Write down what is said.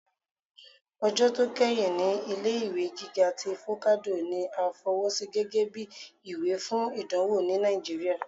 Ọjọ tó keyín ní ilé-ìwé gíga tí focado ní à fọwọ́sí gẹgẹbi ìwé fún ìdánwò ní Nàìjíríà.